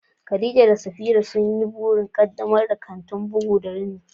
Khadija da Safira sun yi burin ƙaddamar da kantin bugu da rini